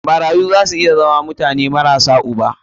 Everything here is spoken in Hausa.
Marayu za su iya zama mutane marasa uba.